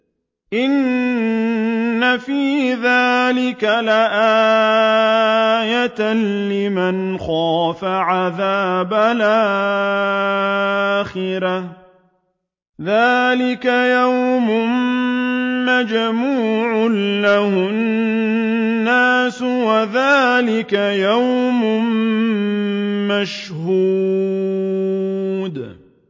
إِنَّ فِي ذَٰلِكَ لَآيَةً لِّمَنْ خَافَ عَذَابَ الْآخِرَةِ ۚ ذَٰلِكَ يَوْمٌ مَّجْمُوعٌ لَّهُ النَّاسُ وَذَٰلِكَ يَوْمٌ مَّشْهُودٌ